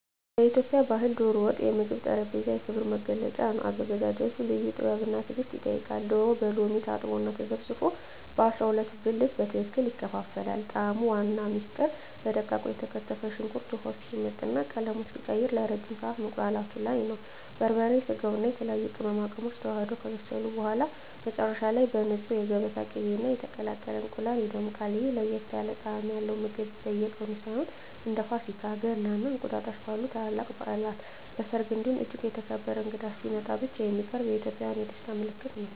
በኢትዮጵያ ባሕል "ዶሮ ወጥ" የምግብ ጠረጴዛ የክብር መገለጫ ነው። አዘገጃጀቱ ልዩ ጥበብና ትዕግስት ይጠይቃል፤ ዶሮው በሎሚ ታጥቦና ተዘፍዝፎ በ12 ብልት በትክክል ይከፋፈላል። የጣዕሙ ዋና ምስጢር በደቃቁ የተከተፈ ሽንኩርት ውሃው እስኪመጥና ቀለሙን እስኪቀይር ለረጅም ሰዓት መቁላላቱ ላይ ነው። በርበሬ፣ ስጋውና የተለያዩ ቅመማ ቅመሞች ተዋህደው ከበሰሉ በኋላ፣ መጨረሻ ላይ በንፁህ የገበታ ቅቤና በተቀቀለ እንቁላል ይደምቃል። ይህ ለየት ያለ ጣዕም ያለው ምግብ በየቀኑ ሳይሆን፣ እንደ ፋሲካ፣ ገና እና እንቁጣጣሽ ባሉ ታላላቅ በዓላት፣ በሰርግ እንዲሁም እጅግ የተከበረ እንግዳ ሲመጣ ብቻ የሚቀርብ የኢትዮጵያውያን የደስታ ምልክት ነው።